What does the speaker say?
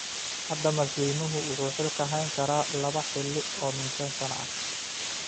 Hadda madaxweynuhu waxa uu xilka hayn karaa laba xilli oo min shan sano ah.